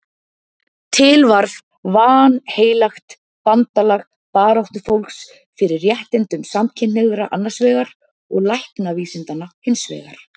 Til varð vanheilagt bandalag baráttufólks fyrir réttindum samkynhneigðra annars vegar og læknavísindanna hins vegar.